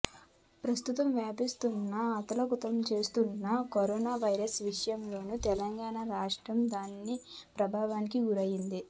ప్రస్తుతం దేశవ్యాప్తంగా అతలాకుతలం చేస్తున్న కరోనా వైరస్ విషయంలోనూ తెలంగాణ రాష్ట్రం దాని ప్రభావానికి గురయ్యింది